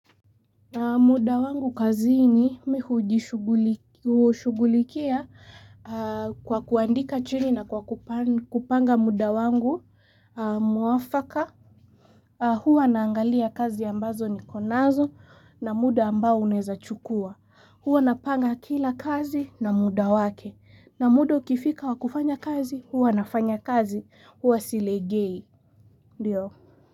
Muda wangu kazini mi hujishugulikia kwa kuandika chini na kwa kupanga muda wangu muafaka. Huwa naangalia kazi ambazo nikonazo na muda ambao uneza chukua. Huwa napanga kila kazi na muda wake. Na muda ukifika wa kufanya kazi, huwa nafanya kazi, huwa silegei. Ndiyo.